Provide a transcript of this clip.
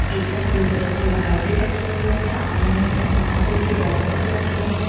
इधर blue colour की बाल्टी रखी हुईं हैं सामने थर्मोकोल के बॉक्सेस रखे हैं।